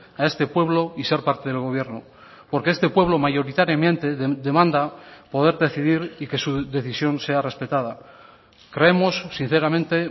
a este pueblo y ser parte del gobierno porque este pueblo mayoritariamente demanda poder decidir y que su decisión sea respetada creemos sinceramente